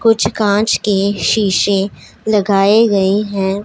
कुछ कांच के शीशे लगाए गई हैं।